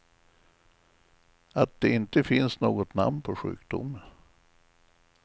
Att det inte finns något namn på sjukdomen.